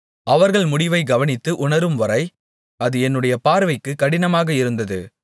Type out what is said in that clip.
அவர்கள் முடிவைக் கவனித்து உணரும்வரை அது என்னுடைய பார்வைக்கு கடினமாக இருந்தது